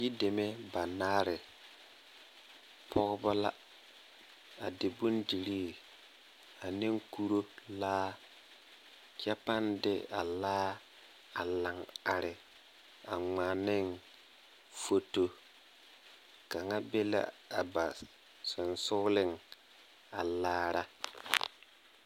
Yideme banaare pɔgeba la a di bondirii ane kuro laa kyɛ pãã de a laa laŋ are a ŋmaa ne foto kaŋa be la a ba sensoga a laara.